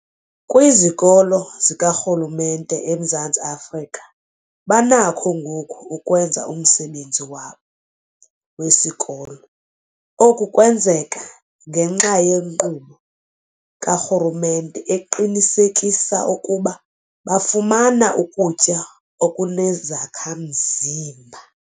Kwizikolo zikarhulumente eMzantsi Afrika banakho ngoku ukwenza umsebenzi wabo wesikolo. Oku kwenzeka ngenxa yenkqubo karhulumente eqinisekisa ukuba bafumana ukutya okunezakha-mzimba.